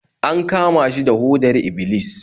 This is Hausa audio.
An kama shi da hodar Iblis